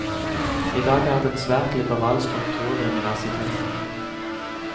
I dag er det en svært liberal struktur ved universitetene.